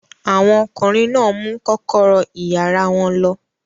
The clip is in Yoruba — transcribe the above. Àwọn ọkùnrin náà mú kọ́kọ́rọ́ ìyàrá wọn lọ.